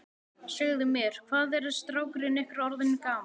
Segðu mér, hvað er strákurinn ykkar orðinn gamall?